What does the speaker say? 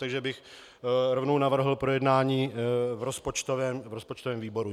Takže bych rovnou navrhl projednání v rozpočtovém výboru.